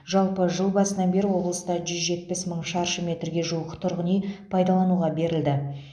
жалпы жыл басынан бері облыста жүз жетпіс мың шаршы метрге жуық тұрғын үй пайдалануға берілді